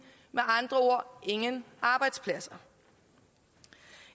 med andre ord ingen arbejdspladser